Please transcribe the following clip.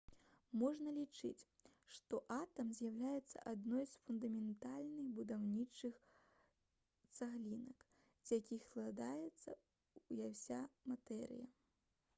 можна лічыць што атам з'яўляецца адной з фундаментальных будаўнічых цаглінак з якіх складаецца ўся матэрыя